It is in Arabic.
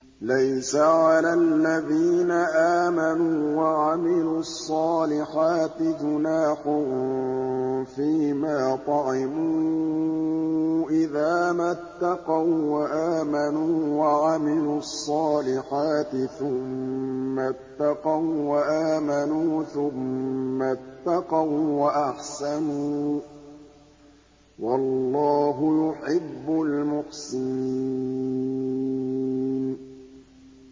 لَيْسَ عَلَى الَّذِينَ آمَنُوا وَعَمِلُوا الصَّالِحَاتِ جُنَاحٌ فِيمَا طَعِمُوا إِذَا مَا اتَّقَوا وَّآمَنُوا وَعَمِلُوا الصَّالِحَاتِ ثُمَّ اتَّقَوا وَّآمَنُوا ثُمَّ اتَّقَوا وَّأَحْسَنُوا ۗ وَاللَّهُ يُحِبُّ الْمُحْسِنِينَ